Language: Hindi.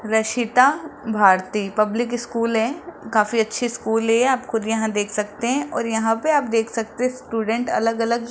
रशीता भारती पब्लिक स्कूल है काफी अच्छे स्कूल है आप खुद यहां देख सकते हैं और यहां पे आप देख सकते स्टूडेंट अलग अलग --